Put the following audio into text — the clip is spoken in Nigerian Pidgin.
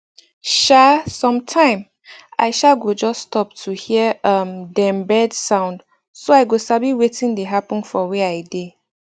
um sometime i um go just stop to hear um dem bird sound so i go sabi wetin dey happen for where i dey